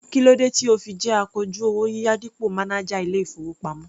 Kí ló dé tí o fi jẹ́ akojú owó yíyá dípò mánájà ilé-ìfowópamọ́?